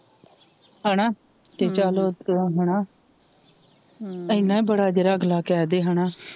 ਹਣਾ ਹਮ ਤੇ ਚੱਲ ਹਣਾ, ਹਮ ਏਨਾ ਬੜਾ ਜੇੜਾ ਅਗਲਾ ਕਿਹਦੇ ਹਣਾ,